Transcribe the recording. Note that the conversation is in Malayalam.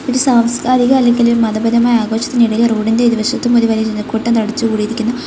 ഒരു സാംസ്കാരിക അല്ലെങ്കില് ഒരു മതപരമായ ആഘോഷത്തിനിടയില് റോഡ് ഇൻ്റെ ഇരുവശത്തും ഒരു വലിയ ജനക്കൂട്ടം തടിച്ച് കൂടിയിരിക്കുന്നു.